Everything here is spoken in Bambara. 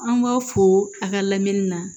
An b'a foo a ka lamini na